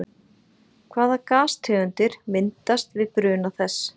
Hvaða gastegundir myndast við bruna þess?